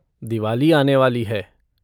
दिवाली आने वाली है!